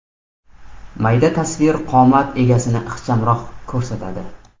Mayda tasvir qomat egasini ixchamroq ko‘rsatadi.